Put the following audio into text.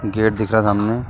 gate दिख रहा सामने --